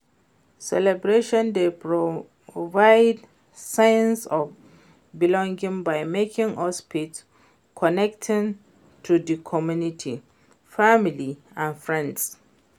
Celebration dey provide sense of belonging by making us feel connected to di community, family and friends.